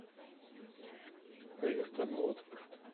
эвертон уотфорд